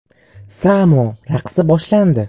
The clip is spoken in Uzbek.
Samo raqsi boshlandi.